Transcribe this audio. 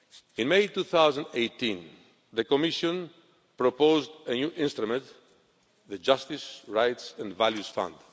In May 2018, the Commission proposed a new instrument the Justice, Rights and Values Fund.